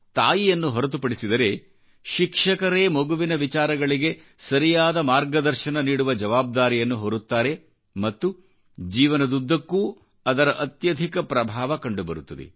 ತಾಯಿಯನ್ನು ಹೊರತುಪಡಿಸಿದರೆಶಿಕ್ಷಕರೇ ಮಗುವಿನ ವಿಚಾರಗಳಿಗೆ ಸರಿಯಾದ ಮಾರ್ಗದರ್ಶನ ನೀಡುವಜವಾಬ್ದಾರಿಯನ್ನು ಹೊರುತ್ತಾರೆ ಮತ್ತು ಜೀವನದುದ್ದಕ್ಕೂ ಅದರ ಅತ್ಯಧಿಕ ಪ್ರಭಾವ ಕಂಡುಬರುತ್ತದೆ